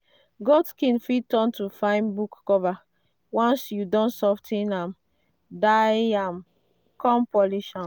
goat skin fit turn to fine book cover once you don sof ten am dye am come polish am.